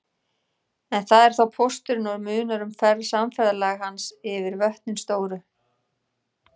En það er þá pósturinn og munar um samferðalag hans yfir vötnin stóru.